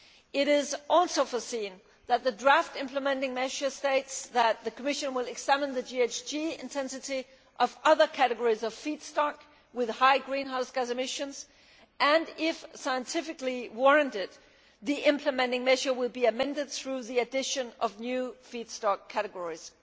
It is also foreseen that the draft implementing measure states that the Commission will examine the GHG intensity of other categories of feedstock with high greenhouse gas emissions and, if scientifically warranted, the implementing measure will be amended through the addition of new feedstock categories.